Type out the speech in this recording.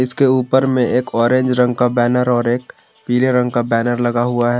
इसके ऊपर में एक ऑरेंज रंग का बैनर और एक पीले रंग का बैनर लगा हुआ है।